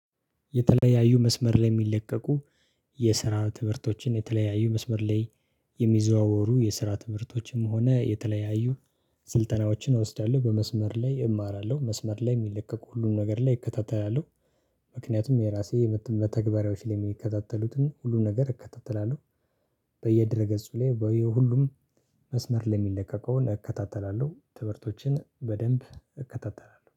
የተለያዩ መስመር ላይ የሚለቀቁ የስራ ትምህርቶችን የተለያዩ መስመር ላይ የሚዘዋወሩ የስራ ትምህርቶችም ሆነ የተለያዩ ስልጠናዎችን እወስዳለሁ በመስመር ላይ እማራለሁ መስመር ላይ የሚለቀቁ ሁሉም ነገር ላይ እከታተላለሁ ምክንያቱም የራሴ መተግበሪያዎች ላይ የሚከታተሉትን ሁሉንም ነገር እከታተላለሁ በየድረ ገጹ ላይ በየሁሉም መስመር የሚለቀቀውን እከተተላለሁ ትምህርቶችን በደንብ እከታተላለሁ